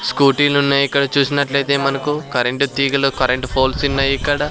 Scooty లు ఉన్నాయ్ ఇక్కడ చూసినట్లైతే మనకు కరెంట్ తీగలు కరెంట్ ఫోల్స్ ఉన్నాయ్ ఇక్కడ.